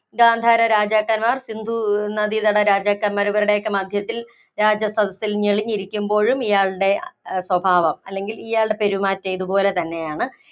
ഗാന്ധാര രാജാക്കന്മാര്‍, സിന്ധൂ നദീതട രാജാക്കന്മാര്‍ ഇവരുടെയൊക്കെ മദ്ധ്യത്തില്‍ രാജസദസ്സില്‍ ഞെളിഞ്ഞിരിക്കുമ്പോഴും ഇയാളുടെ സ്വഭാവം അല്ലെങ്കില്‍ പെരുമാറ്റം ഇതുപോലെ തന്നെയാണ്.